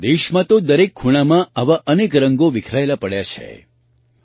આપણા દેશમાં તો દરેક ખૂણામાં આવા અનેક રંગો વિખરાયેલા પડ્યા છે